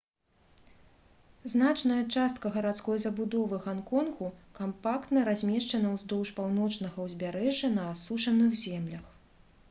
значная частка гарадской забудовы ганконгу кампактна размешчана ўздоўж паўночнага ўзбярэжжа на асушаных землях